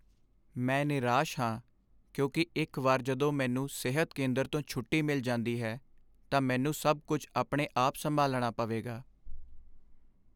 ਮੈਂ ਨਿਰਾਸ਼ ਹਾਂ ਕਿਉਂਕਿ ਇੱਕ ਵਾਰ ਜਦੋਂ ਮੈਨੂੰ ਸਿਹਤ ਕੇਂਦਰ ਤੋਂ ਛੁੱਟੀ ਮਿਲ ਜਾਂਦੀ ਹੈ ਤਾਂ ਮੈਨੂੰ ਸਭ ਕੁੱਝ ਆਪਣੇ ਆਪ ਸੰਭਾਲਣਾ ਪਵੇਗਾ।